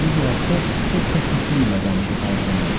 Özü bu haqda çox xəsisliklə danışıb hər zaman.